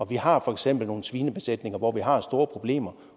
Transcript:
vi har for eksempel nogle svinebesætninger hvor vi har store problemer